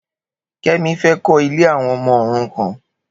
Kemi fê kó̀ ilè awọn ọmọ órúkàn